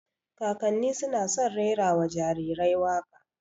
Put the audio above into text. Kakanni suna san rera wa jarirai waƙa